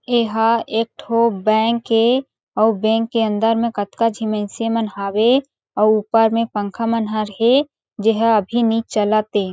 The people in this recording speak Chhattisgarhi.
एहा एकठो बैंक ए आऊ बैंक के अंदर में कतका झी मइनसे मन हावे आऊ ऊपर में पंखा मन हा हे जेहा अभी नई चलत हे।